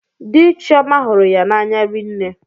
Dị Chioma hụrụ ya n'anya rinne.